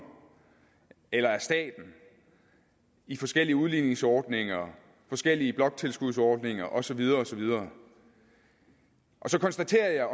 eller af staten i forskellige udligningsordninger forskellige bloktilskudsordninger og så videre og så videre så konstaterer jeg